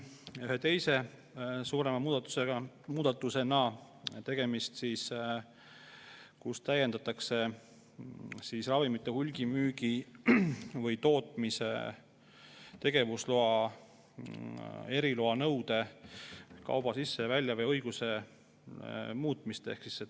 Ühe teise suurema muudatusena on meil tegemist sellega, et täiendatakse sellega, et ravimite hulgimüügi või tootmise tegevusloaga eriluba nõudva kauba sisse- ja väljaveo õigus.